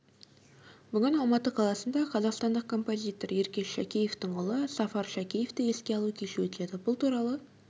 бүгін алматы қаласында қазақстандық композитор еркеш шәкеевтің ұлы сафар шәкеевті еске алу кеші өтеді бұл туралы